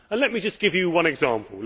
Let me just give you one example.